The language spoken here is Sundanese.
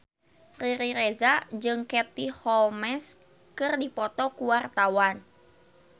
Riri Reza jeung Katie Holmes keur dipoto ku wartawan